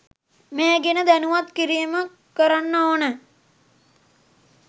මේ ගැන දැනුවත් කිරීම කරන්න ඕනෑ